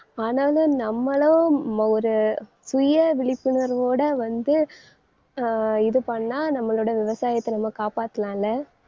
ஆனாலும் நம்மளும் ஒரு சுய விழிப்புணர்வோட வந்து அஹ் இது பண்ணா நம்மளோட விவசாயத்தை நம்ம காப்பாத்தலாம்ல